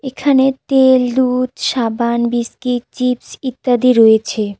এখানে তেল দুধ সাবান বিস্কি চিপস ইত্যাদি রয়েছে।